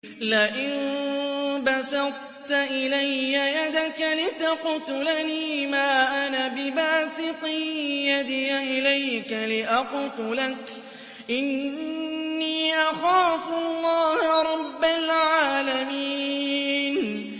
لَئِن بَسَطتَ إِلَيَّ يَدَكَ لِتَقْتُلَنِي مَا أَنَا بِبَاسِطٍ يَدِيَ إِلَيْكَ لِأَقْتُلَكَ ۖ إِنِّي أَخَافُ اللَّهَ رَبَّ الْعَالَمِينَ